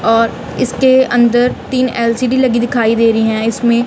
और इसके अंदर तीन एल_सी_डी लगी दिखाई दे रही हैं इसमें--